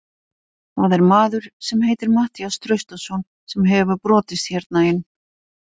Það er maður sem heitir Matthías Traustason sem hefur brotist hérna inn.